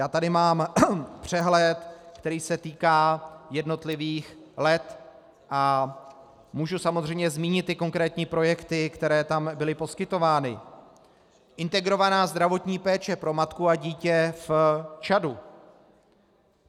Já tady mám přehled, který se týká jednotlivých let, a můžu samozřejmě zmínit konkrétní projekty, které tam byly poskytovány: Integrovaná zdravotní péče pro matku a dítě v Čadu.